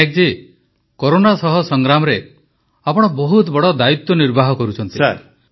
Patnaik ji corona ସହ ସଂଗ୍ରାମରେ ଆପଣ ବହୁତ ବଡ଼ ଦାୟିତ୍ୱ ନିର୍ବାହ କରୁଛନ୍ତି